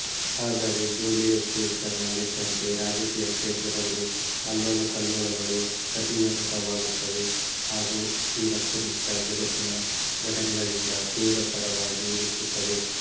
ಆದರೆ Julius Caesar ನಲ್ಲಿದ್ದಂತೆ ರಾಜಕೀಯ ಕ್ಷೇತ್ರದಲ್ಲಿ ಅಲ್ಲೋಲಕಲ್ಲೋಲಗಳು ಪ್ರತಿಧ್ವನಿತವಾಗುತ್ತವೆ ಹಾಗೂ ಈ ವಸ್ತುನಿಷ್ಠ ಜಗತ್ತಿನ ಘಟನೆಗಳಿಂದ ತೀವ್ರತರವಾಗಿ ಹೆಚ್ಚುತ್ತವೆ